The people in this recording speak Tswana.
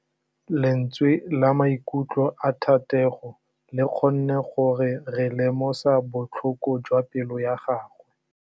Lentswe la maikutlo a Thategô le kgonne gore re lemosa botlhoko jwa pelô ya gagwe.